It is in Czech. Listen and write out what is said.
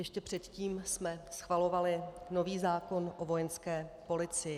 Ještě předtím jsme schvalovali nový zákon o Vojenské policii.